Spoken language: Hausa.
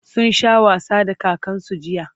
sun Sha wasa da kakansu jiya